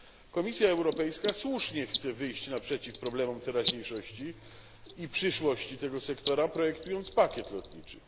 Komisja Europejska słusznie chce wyjść naprzeciw problemom teraźniejszości i przyszłości tego sektora, projektując pakiet lotniczy.